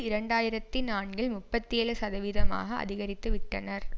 இரண்டாயிரத்தி நான்கில் முப்பத்தி ஏழு சதவீதமாக அதிகரித்து விட்டனர்